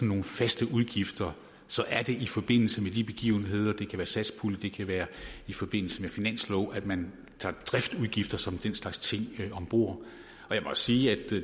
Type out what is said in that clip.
nogle faste udgifter så er det i forbindelse med de begivenheder det kan være satspuljen det kan være i forbindelse med finansloven at man tager driftsudgifter som den slags ting om bord jeg må sige at